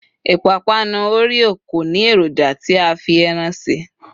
ipapanu oreo ko ni eroja ti a fi Eran se